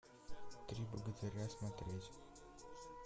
три богатыря смотреть